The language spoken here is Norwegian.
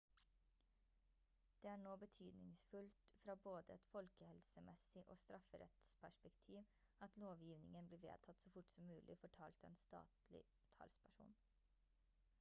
«det er nå betydningsfullt fra både et folkehelsemessig og strafferettsperspektiv at lovgivningen blir vedtatt så fort som mulig» fortalte en statlig talsperson